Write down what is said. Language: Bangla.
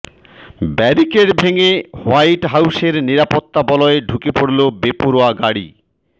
ব্যারিকেড ভেঙে হোয়াইট হাউসের নিরাপত্তা বলয়ে ঢুকে পড়ল বেপরোয়া গাড়ি